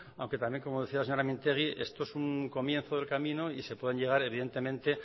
aunque también como decía la señora mintegi esto es un comienzo del camino y se puede llegar evidentemente